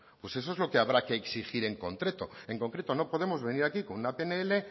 pues eso es lo que habrá que exigir en concreto en concreto no podemos venir aquí con una pnl